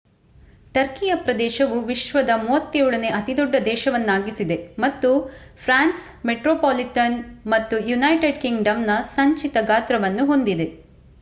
ಟರ್ಕಿಯ ಪ್ರದೇಶವು ವಿಶ್ವದ 37ನೇ ಅತಿದೊಡ್ಡ ದೇಶವನ್ನಾಗಿಸಿದೆ ಮತ್ತು ಫ್ರಾನ್ಸ್‌ ಮೆಟ್ರೋಪಾಲಿಟನ್‌ ಮತ್ತು ಯುನೈಟೆಡ್ ಕಿಂಗ್‌ಡಮ್‌ನ ಸಂಚಿತ ಗಾತ್ರವನ್ನು ಹೊಂದಿದೆ